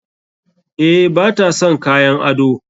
Eh, ba ta sa kayan ado.